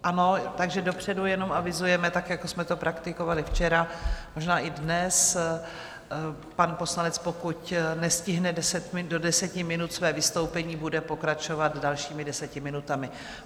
Ano, takže dopředu jenom avizujeme, tak, jako jsme to praktikovali včera, možná i dnes, pan poslanec pokud nestihne do deseti minut své vystoupení, bude pokračovat dalšími deseti minutami.